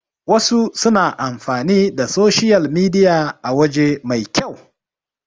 wasu suna amfani da soshiyal midiya a waje mai kyau